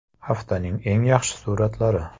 Haftaning eng yaxshi suratlari.